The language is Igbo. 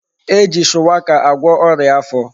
E ji shuwaka agwo oria afo